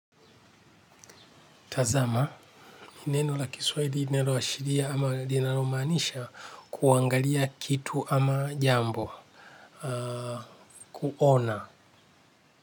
Tazama, ni neno la kiswahili linaloashiria ama linalo maanisha kuangalia kitu ama jambo, kuona.